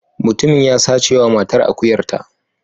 Mutumin ya sace wa matar akuyarta.